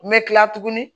N bɛ kila tuguni